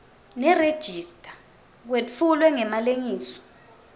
nerejista kwetfulwe ngemalengiso